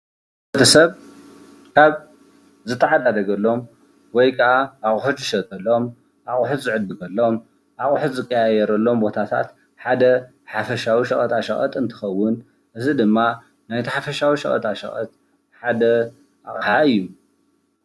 ሰብ ኣብ ዝተሓዓዳደገሎም ውይ ከዓ ኣቑሑት ዝሸጠሎም ፣ ኣቑሑት ዝዕድገሎም ፣ ኣቑሑት ዝቃያያረሎም ፣ ቦታታት ሓደ ሓፍሻዊ ሸቀጣ ሸቀጥ እንትኸውን እዚ ድማ ናይቲ ሓፍሻዊ ሸቀጣ ሸቀጥ ሓደ ኣቕሓ እዩ።